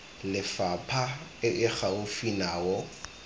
lefapha e e gaufi nao